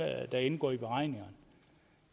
der indgår i beregningerne